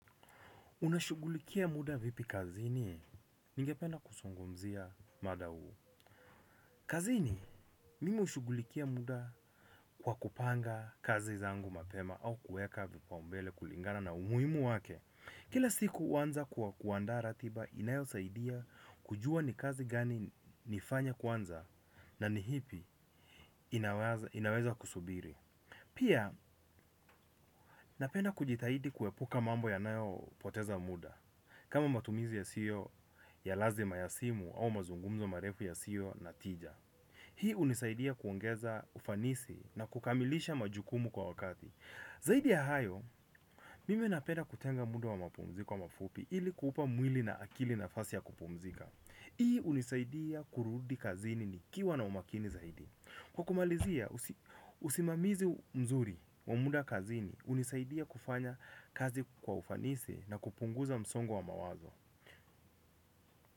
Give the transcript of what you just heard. Unashugulikia muda vipi kazini, ninge penda kusungumzia mada huu. Kazini, mimi ushugulikia muda kwa kupanga kazi zangu mapema au kueka vipaumbele kulingana na umuimu wake. Kila siku huanza kuwa kuanda ratiba inayo saidia kujua ni kazi gani nifanya kwanza na ni hipi inaweza kusubiri. Pia napenda kujitahidi kuwepuka mambo ya nayo poteza muda. Kama matumizi yasiyo ya lazima ya simu au mazungumzo marefu ya siyo na tija. Hii unisaidia kuongeza ufanisi na kukamilisha majukumu kwa wakati. Zaidi ya hayo, mimi napenda kutenga muda wa mapumzi ko mafupi ili kupa mwili na akili na fasi ya kupumzika. Hii unisaidia kurudi kazini ni kiwa na umakini zaidi. Kwa kumalizia, usimamizi mzuri, wa muda kazini, unisaidia kufanya kazi kwa ufanisi na kupunguza msongo wa mawazo.